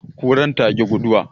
Kurar ta ƙi guduwa.